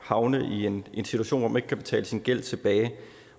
havne i en situation hvor man ikke kan betale sin gæld tilbage